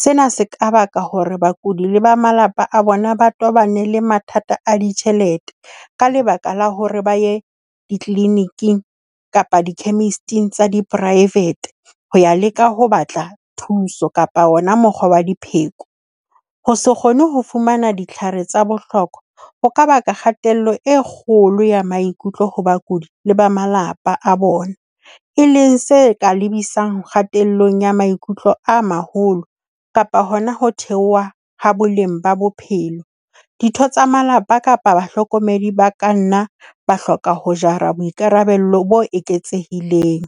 Sena se ka baka hore bakudi le ba malapa a bona, ba tobane le mathata a ditjhelete ka lebaka la hore ba ye di-clini- ing kapa di-chemist-ing tsa di-private. Ho ya leka ho batla thuso kapa ona mokgwa wa dipheko. Ho se kgone ho fumana ditlhare tsa bohlokwa ho kaba ka kgatello e kgolo ya maikutlo ho bakudi le ba malapa a bona. E leng se ka lebisang kgatello ya maikutlo a maholo kapa hona ho theoha ha boleng ba bophelo. Ditho tsa malapa kapa bahlokomedi ba ka nna ba hloka ho jara boikarabello bo eketsehileng.